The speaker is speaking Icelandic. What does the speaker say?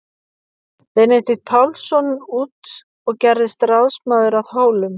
Benedikt Pálsson út og gerðist ráðsmaður að Hólum.